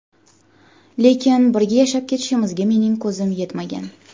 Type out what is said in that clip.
Lekin birga yashab ketishimizga mening ko‘zim yetmagan.